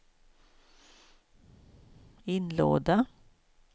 inlåda